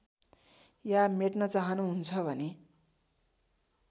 या मेट्न चाहनुहुन्छ भने